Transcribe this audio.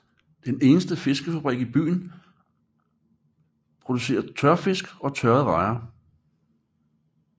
Den eneste fiskefabrik i bygden producerer tørfisk og tørrede rejer